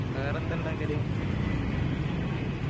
വേറെന്താ ഇണ്ടാക്കല്